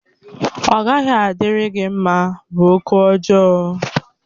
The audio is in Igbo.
Ọ gaghị adịrị gị mma! bụ okwụ ọjọọ.